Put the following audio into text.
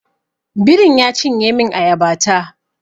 Birin ya cinye min ayaba ta